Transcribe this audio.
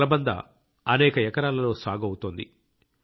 కలబంద అనేక ఎకరాలలో సాగు అవుతోంది